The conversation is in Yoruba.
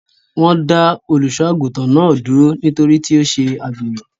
Wọ́n dá Olùṣọ́-àgùntàn náà dúró nítorí tí ó ṣe àgbèrè.